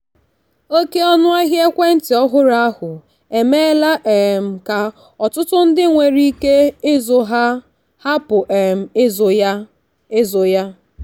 oke ọnụahịa ekwentị ọhụrụ ahụ emeela um ka ọtụtụ ndị nwere ike ịzụ ya hapụ um ịzụ ya. ịzụ ya.